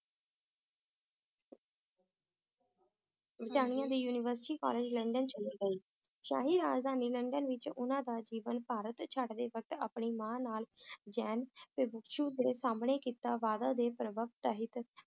ਬਰਤਾਨੀਆ ਦੀ university college London ਚਲੇ ਗਏ, ਸ਼ਾਹੀ ਰਾਜਧਾਨੀ ਲੰਡਨ ਵਿਚ ਉਹਨਾਂ ਦਾ ਜੀਵਨ ਭਾਰਤ ਛੱਡਦੇ ਵਕਤ ਆਪਣੀ ਮਾਂ ਨਾਲ ਜੈਨ ਭਿਕਸ਼ੂ ਦੇ ਸਾਮਣੇ ਕੀਤਾ ਵਾਅਦਾ ਦੇ ਪ੍ਰਭਾਵ ਤਹਿਤ